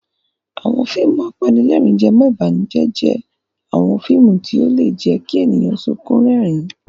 Àwọn fíìmù apanílẹ̀rín-jẹmọ́-ìbànújẹ́ jẹ́ àwọn fíìmù tí ó lè jẹ́ kí ènìyàn sunkún rẹ́rìn-ín.